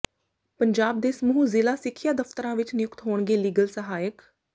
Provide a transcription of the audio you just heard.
ਪੰਜਾਬ ਦੇ ਸਮੂਹ ਜ਼ਿਲ੍ਹਾ ਸਿੱਖਿਆ ਦਫਤਰਾਂ ਵਿਚ ਨਿਯੁਕਤ ਹੋਣਗੇ ਲੀਗਲ ਸਹਾਇਕ